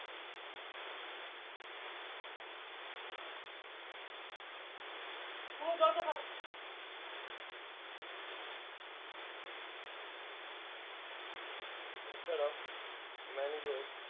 এছাড়াও ম্যানগ্রোভ